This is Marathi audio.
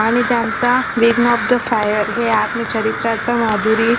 आणि त्यांचा wings of the fire हे आत्मचरित्र माधुरी